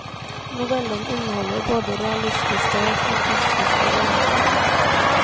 Novellen inneholder både realistiske og fantastiske elementer.